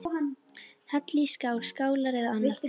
Hellið í skál, skálar eða annað.